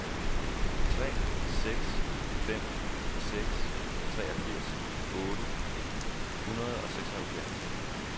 tre seks fem seks treogfirs otte hundrede og seksoghalvfjerds